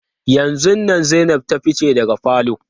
Yanzun nan Zainab ta fice daga falo.